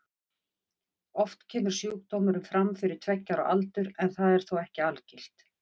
Oft kemur sjúkdómurinn fram fyrir tveggja ára aldur en það er þó ekki algilt.